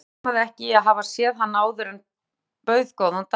Thomas rámaði ekki í að hafa séð hann áður en bauð góðan dag.